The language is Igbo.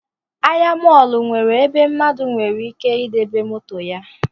Ahịa mọlụ nwere ebe mmadụ nwere ike debe moto ya